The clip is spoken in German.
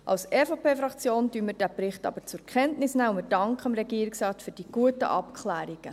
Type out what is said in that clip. Die EVP-Fraktion nimmt den Bericht aber zur Kenntnis, und wir danken dem Regierungsrat für die guten Abklärungen.